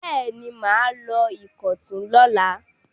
Bẹ́ẹ̀ ni, mà á lọ Ìkọ̀tún lọ́la.